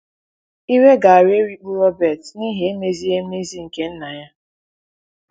Iwe gaara erikpu Robert n’ihi emezighị emezi nke nna ya.